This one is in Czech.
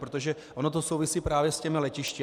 Protože ono to souvisí právě s těmi letišti.